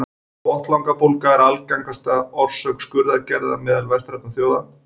Botnlangabólga er algengasta orsök skurðaðgerða meðal vestrænna þjóða.